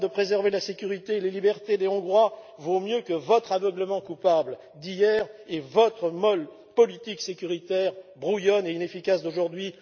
Orbán de préserver la sécurité et les libertés des Hongrois vaut mieux que votre aveuglement coupable d'hier et votre molle politique sécuritaire brouillonne et inefficace d'aujourd'hui.